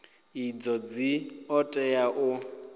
idzo dzi ḓo tea u